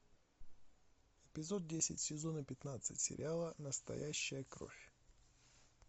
эпизод десять сезона пятнадцать сериала настоящая кровь